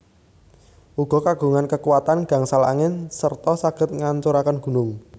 Uga kagungan kekuatan gangsal angin serta saged ngancuraken gunung